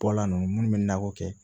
Bɔla nunnu bɛ nakɔ kɛ